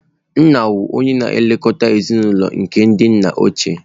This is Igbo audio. Nna wu oye na-elekọta ezinụlọ nke ndị nna ochie.